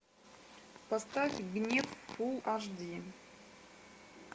поставь гнев фул аш ди